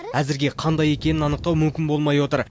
әзірге қандай екенін анықтау мүмкін болмай отыр